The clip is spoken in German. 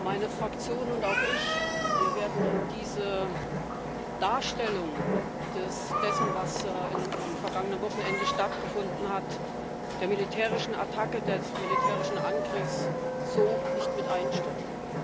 Meine Fraktion und auch ich werden in diese Darstellung dessen, was am vergangenen Wochenende stattgefunden hat der militärischen Attacke, des militärischen Angriffs so nicht mit einstimmen.